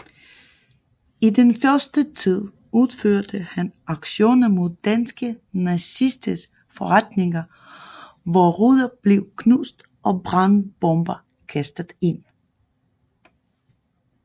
I den første tid udførte han aktioner mod danske nazisters forretninger hvor ruder blev knust og brandbomber kastet ind